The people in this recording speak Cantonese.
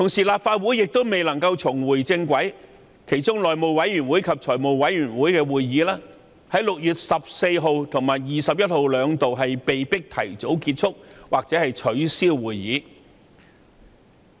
立法會亦同樣未能重回正軌，內務委員會及財務委員會於6月14日及21日的會議兩度被迫提早結束或取消。